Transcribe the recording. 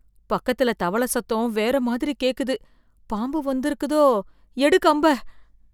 பக்கத்துல தவள சத்தம் வேற மாதிரி கேக்குது, பாம்பு வந்திருக்குதோ, எடு கம்ப.